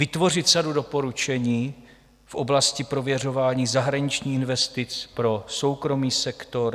Vytvořit sadu doporučení v oblasti prověřování zahraničních investic pro soukromý sektor.